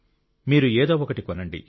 మీరు ఏదో ఒకటి కొనండి